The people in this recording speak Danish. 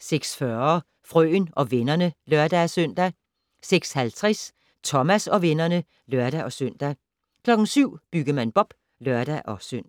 06:40: Frøen og vennerne (lør-søn) 06:50: Thomas og vennerne (lør-søn) 07:00: Byggemand Bob (lør-søn)